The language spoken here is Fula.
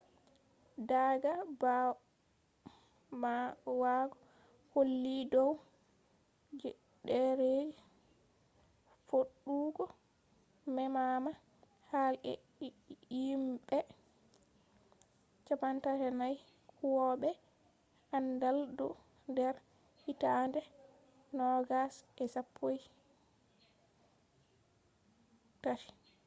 daaga ɓawo holli dow ɗereji foɗugo memama hall e himɓe 34 huwoɓe aandal do nder hitade 2013